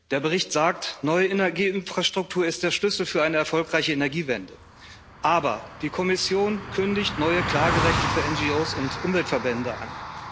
Der Bericht sagt, neue Energieinfrastruktur ist der Schlüssel für eine erfolgreiche Energiewende, aber die Kommission kündigt neue Klagerechte für NGOs und Umweltverbände an.